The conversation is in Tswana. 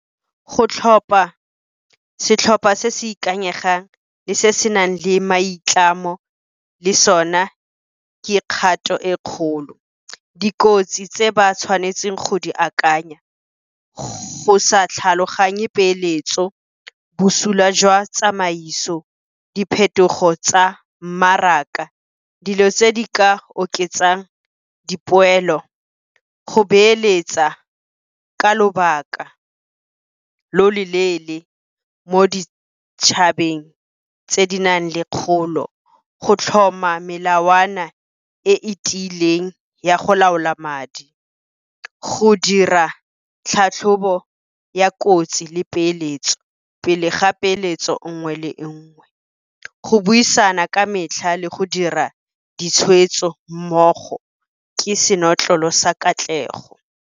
Go tlhopha setlhopha se se ikanyegang le se se nang le maitlamo le sone ka kgato e kgolo. Dikotsi tse ba tshwanetseng go di akanya, go sa tlhaloganye peeletso, bosula jwa tsamaiso, diphetogo tsa mmaraka, dilo tse di ka oketsang dipoelo. Go beeletsa ka lobaka lo lo leele mo ditšhabeng tse di nang le kgolo, go tlhoma melawana e e tiileng ya go laola madi, go dira tlhatlhobo ya kotsi le peeletso pele ga peeletso nngwe le nngwe, go buisana ka metlha le go dira ditshweetso mmogo ke senotlolo sa katlego.